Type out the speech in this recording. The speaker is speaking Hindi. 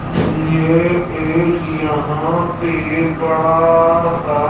ये एक यहां पे बड़ा सा--